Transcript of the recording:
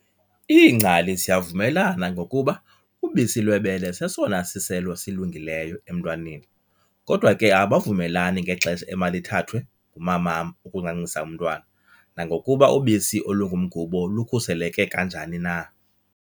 Iingcali ziyavumelana ngokuba ubisi lwebele sesona siselo silungileyo emntwaneni, kodwa ke abavumelani ngexesha emalithathwe ngumamam ukuncancisa umntwana, nangokuba ubisi olungumgubo lukhuseleke kanjani na.